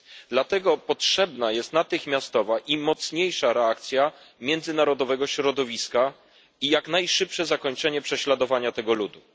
Dlatego potrzebna jest natychmiastowa i mocniejsza reakcja międzynarodowego środowiska i jak najszybsze zakończenie prześladowania tego ludu.